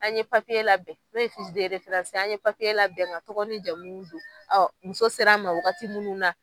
An ye labɛn n'o ye ye, an ye labɛn ŋa tɔgɔ nin jamun don. muso ser'an ma wagati mun na